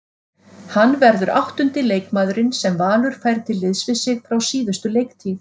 Hann verður áttundi leikmaðurinn sem Valur fær til liðs við sig frá síðustu leiktíð.